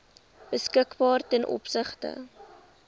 beskikbaar ten opsigte